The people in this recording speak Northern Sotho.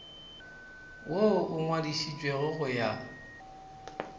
woo o ngwadišitšwego go ya